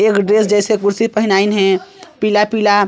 एक दोस जइसे कुर्सी पहनाईसे पीला-पीला--